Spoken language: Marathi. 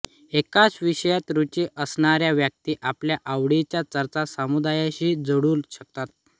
एकाच विषयात रुची असणार्या व्यक्ती आपल्या आवडीच्या चर्चा समुदायाशी जुळू शकतात